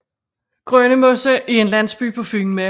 Grønnemose er en landsby på Fyn med